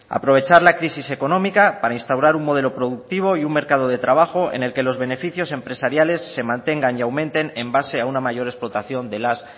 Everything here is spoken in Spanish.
aprovechar la crisis económica para instaurar un modelo productivo y un mercado de trabajo en que los beneficios empresariales se mantengan y aumenten en base a una mayor explotación de las